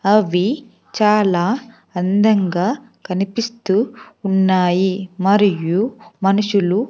అవి చాలా అందంగా కనిపిస్తూ ఉన్నాయి మరియు మనుషులు--